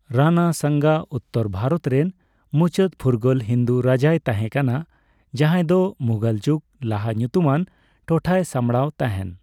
ᱨᱟᱱᱟ ᱥᱟᱝᱜᱟ ᱩᱛᱛᱚᱨ ᱵᱷᱟᱨᱚᱛ ᱨᱮᱱ ᱢᱩᱪᱟᱹᱫ ᱯᱷᱩᱨᱜᱟᱹᱞ ᱦᱤᱱᱫᱩ ᱨᱟᱡᱟᱭ ᱛᱟᱦᱮᱸᱠᱟᱱᱟ, ᱡᱟᱦᱟᱸᱭ ᱫᱚ ᱢᱩᱜᱷᱚᱞ ᱡᱩᱜᱽ ᱞᱟᱦᱟ ᱧᱩᱛᱩᱢᱟᱱ ᱴᱚᱴᱷᱟᱭ ᱥᱟᱢᱵᱟᱲᱟᱣ ᱛᱟᱦᱮᱱ ᱾